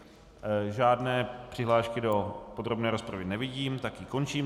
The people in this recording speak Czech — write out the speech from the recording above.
Žádné přihlášky do podrobné rozpravy nevidím, tak ji končím.